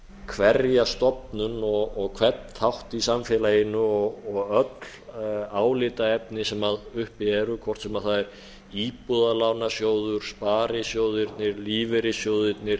hverja stofnun og hvern þátt í samfélaginu og öll álitaefni sem uppi eru hvort sem það er íbúðalánasjóður sparisjóðirnir lífeyrissjóðirnir